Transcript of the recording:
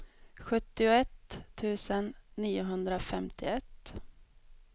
sjuttioett tusen niohundrafemtioett